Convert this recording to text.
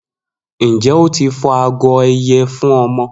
Njẹ o ti fọ agọ ẹyẹ fun ọmọ?